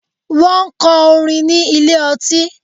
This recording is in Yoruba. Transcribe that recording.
Wọ́n ń kọ orin ní ilé ọtí.